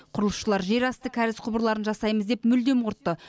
құрылысшылар жерасты кәріз құбырларын жасаймыз деп мүлдем құртты